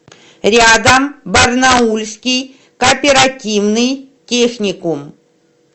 рядом барнаульский кооперативный техникум